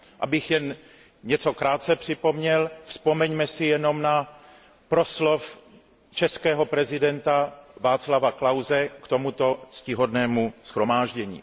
Abych jen něco krátce připomněl, vzpomeňme si jenom na proslov českého prezidenta Václava Klause k tomuto ctihodnému shromáždění.